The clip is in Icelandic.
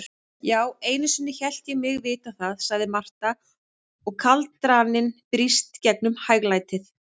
Já, einusinni hélt ég mig vita það, segir Marta og kaldraninn brýst gegnum hæglætið.